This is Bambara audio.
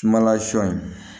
Sumala sɔ in